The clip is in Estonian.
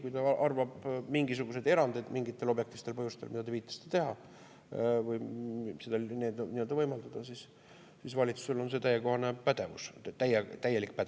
Kui ta arvab, et mingisuguseid erandeid mingitel objektiivsetel põhjustel, millele te viitasite, teha või seda võimaldada, siis valitsusel on sellekohane pädevus, täielik pädevus.